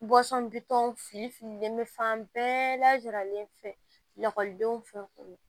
bitɔn fili fililen bɛ fan bɛɛ lajaralen fɛ lakɔlidenw fɛ